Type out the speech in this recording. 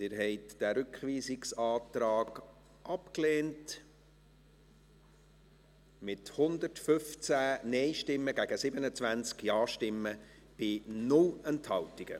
Sie haben diesen Rückweisungsantrag abgelehnt, mit 115 Nein- gegen 27 Ja-Stimmen bei 0 Enthaltungen.